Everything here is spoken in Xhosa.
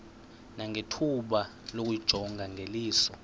nangethuba lokuyijonga ngeliso